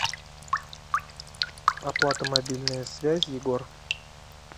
оплата мобильной связи егор